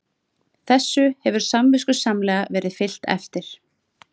Þessu hefur samviskusamlega verið fylgt eftir